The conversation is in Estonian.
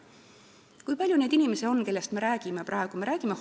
Kui palju on neid inimesi, kellest me praegu räägime?